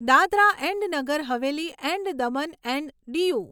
Dadra and Nagar Haveli and Daman and Diu